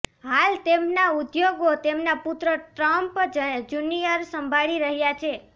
હાલ તેમના ઉદ્યોગો તેમના પુત્ર ટ્રમ્પ જુનિયર સંભાળી રહ્યા છે